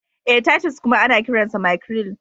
Ee, Titus kuma ana kiransa mackerel.